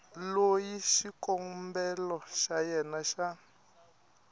loyi xikombelo xa yena xa